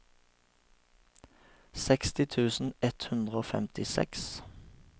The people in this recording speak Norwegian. seksti tusen ett hundre og femtiseks